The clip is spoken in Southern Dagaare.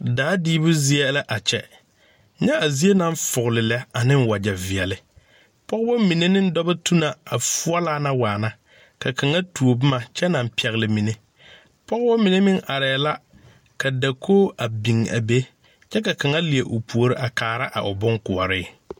Daa diibu zie la a kyɛ nyɛ a zie naŋ foɔvle lɛ ne wagyɛ veɛle pɔgebo mine ne dɔba tuna a foɔlaa na waana ka kaŋa tuo boma kyɛ naŋ pɛgle mine pɔgeba mine meŋ arɛɛ la ka dakog biŋ be kyɛ ka kaŋa leɛ o puori a kaara o boŋkoɔre.